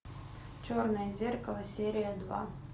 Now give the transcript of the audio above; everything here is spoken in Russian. черное зеркало серия два